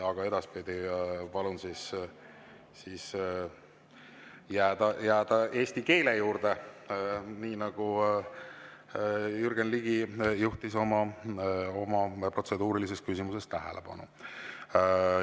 Aga edaspidi palun jääda eesti keele juurde, nii nagu Jürgen Ligi juhtis oma protseduurilises küsimuses tähelepanu.